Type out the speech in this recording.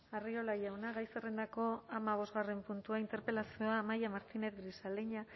arriola jauna gai zerrendako hamabosgarren puntua interpelazioa amaia martínez grisaleña